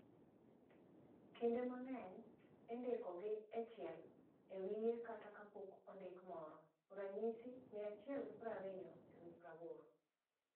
kinde ma ng'eny indiko gi echiel e wiye kata kapok ondik moro, ranyisi 120/80